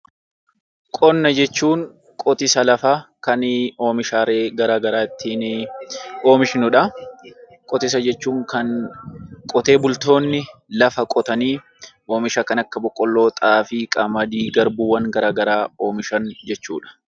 Qonna jechuun qotiisa lafaa oomishaalee garaagaraa ittiin oomishnudha. Oomisha jechuun kan qotee bultoonni lafa qotanii oomisha kana Akka boqqoolloo, xaafii, qamadii, garbuu waan garaagaraa oomishan jechuudha